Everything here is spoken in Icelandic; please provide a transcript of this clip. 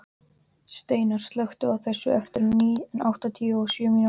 Steinar, slökktu á þessu eftir áttatíu og sjö mínútur.